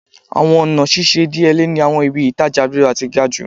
Awọn ọna ṣiṣe idiyele ni awọn ibi-itaja rira ti gaju